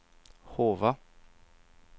Hova